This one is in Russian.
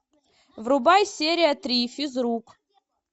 врубай серия три физрук